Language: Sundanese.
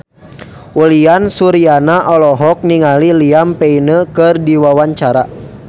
Uyan Suryana olohok ningali Liam Payne keur diwawancara